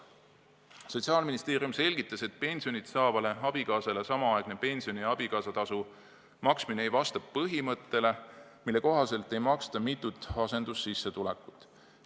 Sotsiaalministeerium selgitas, et pensioni saavale abikaasale samaaegne pensioni ja abikaasatasu maksmine ei vasta põhimõttele, mille kohaselt inimesele ei maksta mitut asendussissetulekut.